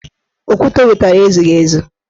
Okwute o wetara ezughị ezu